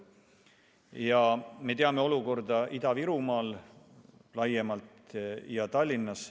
Me teame olukorda Ida-Virumaal laiemalt ja Tallinnas.